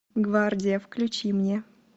гвардия включи мне